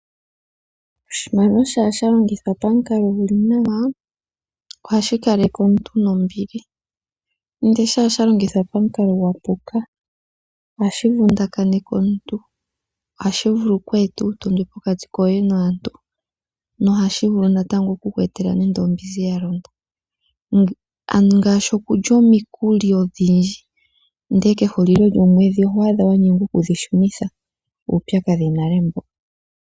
Oshimaliwa shampa sha longithwa pamukalo gu li nawa ohashi kaleke omuntu nombili, ihe ngele osha longithwa pamukalo gwa puka ohashi vundakaneke omuntu, ohashi eta uutondwe pokati koye naantu. Ohashi etele aantu ombinzi ya londa. Uupyakadhi wumwe ongaashi okulya omikuli odhindji ihe oto nyengwa oku dhi shunitha kehulilo lyomwedhi.